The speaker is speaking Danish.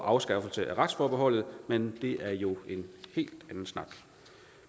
afskaffelse af retsforbeholdet men det er jo en helt anden snak